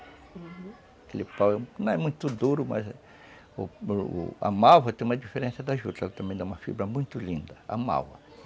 Uhum, aquele pau não é muito duro, mas a a malva tem uma diferença da juta, ela também dá uma fibra muito linda, a malva.